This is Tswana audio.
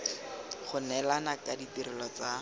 go neelana ka ditirelo tsa